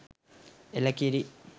එළ කිරි